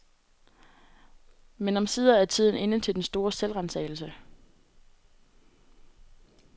Men omsider er tiden inde til den store selvransagelse.